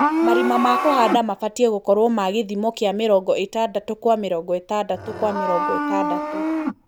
malima ma kũhanda mafatia gũkro ma gĩthimo kia mĩrongo ĩtandatũ gwa mĩrongo ĩtandatũ gwa mĩrongo ĩtandatũ.